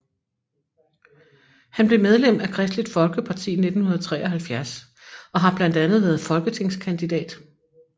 Han blev medlem af Kristeligt Folkeparti i 1973 og har blandt andet været folketingskandidat